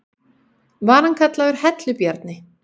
Var hann kallaður Hellu-Bjarni.